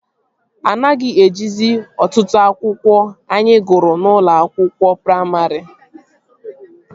Anaghị ejizi otụtụ akwụkwọ anyị gụrụ n'ụlọ akwụkwọ praimarị